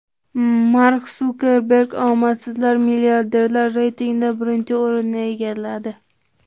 Mark Sukerberg omadsiz milliarderlar reytingida birinchi o‘rinni egalladi.